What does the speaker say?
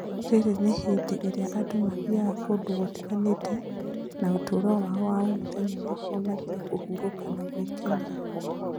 rĩrĩ Nĩ hĩndĩ ĩrĩa andũ mathiaga kũndũ gũtiganĩte na ũtũũro wao wa o mũthenya nĩguo mathiĩ kũhurũka na gwĩkenia.